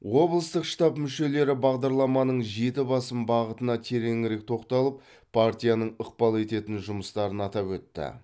облыстық штаб мүшелері бағдарламаның жеті басым бағытына тереңірек тоқталып партияның ықпал ететін жұмыстарын атап өтті